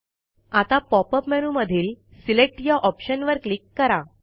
आता पॉपअप मेनूमधील सिलेक्ट या ऑप्शनवर क्लिक करा